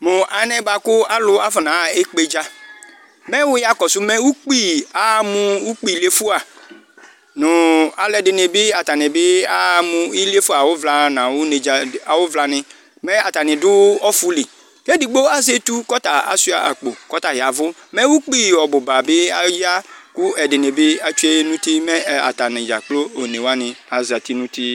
Mu alɛna yɛ afɔnaɣa ekpedza mɛ wuya kɔsu nu ukpi yaha mu ukpi iliefua nu aluɛdini bi yaha iliefua awu vlani mɛ atani du ɔfili mɛ edigbo azɛ etu ashua akpo ku ɔya yavu mɛ ukpi ɔbuba aya ku ɛdini mɛ atani dzákplo mɛ onewani atsue nu uti